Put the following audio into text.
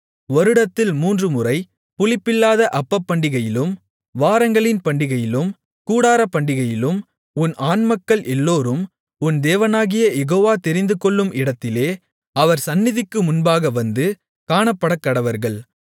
வருடத்தில் மூன்றுமுறை புளிப்பில்லாத அப்பப்பண்டிகையிலும் வாரங்களின் பண்டிகையிலும் கூடாரப்பண்டிகையிலும் உன் ஆண்மக்கள் எல்லோரும் உன் தேவனாகிய யெகோவா தெரிந்துகொள்ளும் இடத்திலே அவர் சந்நிதிக்கு முன்பாக வந்து காணப்படக்கடவர்கள்